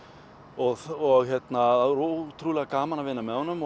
og það er ótrúlega gaman að vinna með honum